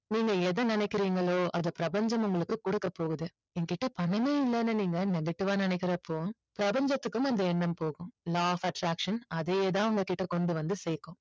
நீங்க எதை நினைக்கிறீங்களோ அதை பிரபஞ்சம் உங்களுக்கு கொடுக்க போகுது என்கிட்ட பணமே இல்லன்னு நீங்க negative ஆ நினைக்கிறப்போ பிரபஞ்சத்துக்கும் அந்த எண்ணம் போகும் law of attraction அதேதான் உங்க கிட்ட கொண்டு வந்து சேர்க்கும்